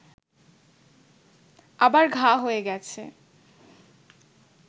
আবার ঘা হয়ে গেছে